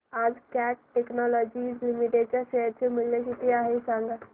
आज Cat Technologies Limited चे share चे मूल्य किती आहे सांगा